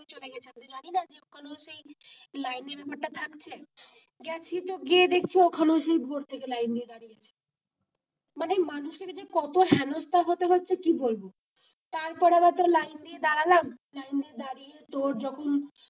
line এর ব্যাপার টা থাকছে গেছি তো গিয়ে দেখছি ওখানেও সেই ভোর থেকে লাইন দিয়ে দাঁড়িয়ে আছে মানে মানুষ কে যে কত হেনস্থা হতে হচ্ছে কি বলবো তারপর আবার তোর লাইন দিয়ে দাঁড়ালাম, লাইন দিয়ে দাঁড়িয়ে তোর যখন,